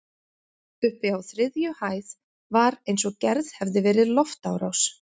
Uppi á þriðju hæð var eins og gerð hefði verið loftárás.